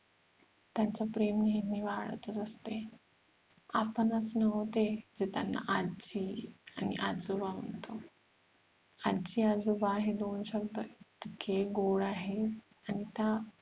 त्यांच प्रेम नेहमी वाढत च असते. आपणच नव्ह ते जे त्यांना आजी आणि आजोबा म्हणतो. आजी आजोबा हे दोन शब्द इतके गोड आहेत आणि त्या